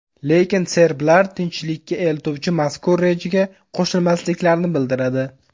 Lekin serblar tinchlikka eltuvchi mazkur rejaga qo‘shilmasliklarini bildiradi.